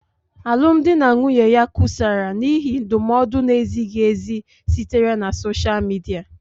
Alụmdi na nwunye ya kusara n'ihi ndụmọdụ na-ezighị ezi sitere na sosha Midia.